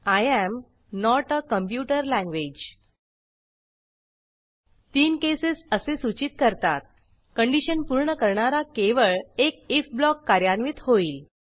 I am not a computer language तीन cases असे सूचित करतात कंडिशन पूर्ण करणारा केवळ एक आयएफ ब्लॉक कार्यान्वित होईल